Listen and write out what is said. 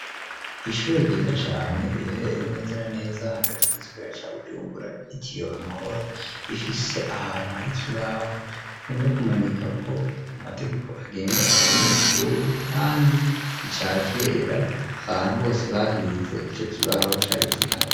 ishuri ryiza cane riherereye neza na neza hagati mugisagara ca Bujumbura ryitiriwe amahora, rifise ahantu hari kibaho bakunda kumanikako amategeko agenga abanyeshuri, kandi icakera abantu bose bahize ico kibaho cari kihari.